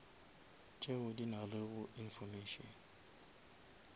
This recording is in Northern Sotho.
tšeo di nalego information